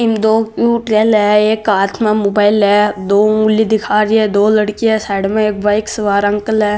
इम दो cute girl है एक हाथ में मोबाइल है दो उंगली दिखा री है दो लड़किया साइड में एक बाइक सवार अंकल है।